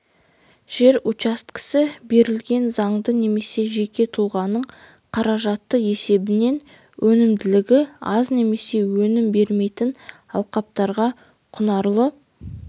жер учаскесі берілген заңды немесе жеке тұлғаның қаражаты есебінен өнімділігі аз немесе өнім бермейтін алқаптарға құнарлы